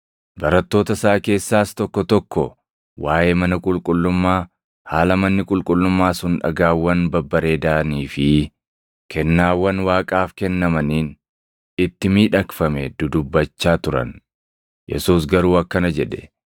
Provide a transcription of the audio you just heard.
Barattoota isaa keessaas tokko tokko waaʼee mana qulqullummaa, haala manni qulqullummaa sun dhagaawwan babbareedanii fi kennaawwan Waaqaaf kennamaniin itti miidhagfame dudubbachaa turan. Yesuus garuu akkana jedhe;